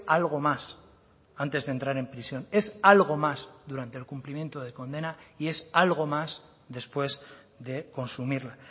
algo más antes de entrar en prisión es algo más durante el cumplimiento de condena y es algo más después de consumirla